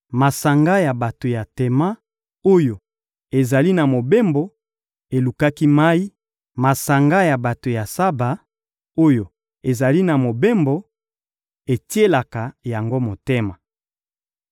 Masanga ya bato ya Tema, oyo ezali na mobembo, elukaki mayi; masanga ya bato ya Saba, oyo ezali na mobembo, etielaki yango motema.